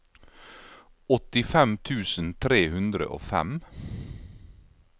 åttifem tusen tre hundre og fem